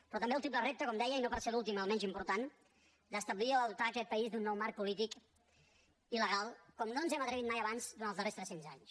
però també el triple repte com deia i no per ser l’últim el menys important d’establir o dotar aquest país d’un nou marc polític i legal com no ens hem atrevit mai abans durant els darrers tres cents anys